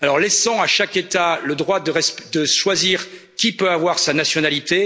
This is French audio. Alors, laissons à chaque État le droit de choisir qui peut avoir sa nationalité.